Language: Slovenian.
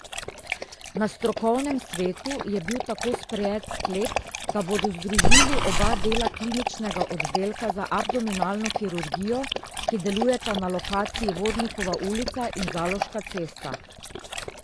Na strokovnem svetu je bil tako sprejet sklep, da bodo združili oba dela kliničnega oddelka za abdominalno kirurgijo, ki delujeta na lokaciji Vodnikova ulica in Zaloška cesta.